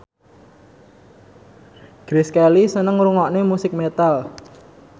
Grace Kelly seneng ngrungokne musik metal